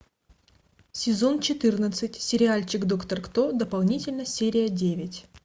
сезон четырнадцать сериальчик доктор кто дополнительно серия девять